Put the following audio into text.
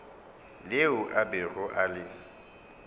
leo a bego a le